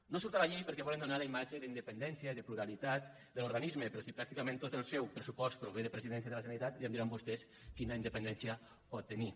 no surt a la llei perquè volen donar la imatge d’independència i de pluralitat de l’organisme però si pràcticament tot el seu pressupost prové de presidència de la generalitat ja em diran vostès quina independència pot tenir